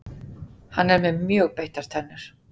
Hann er með mjög beittar tennur.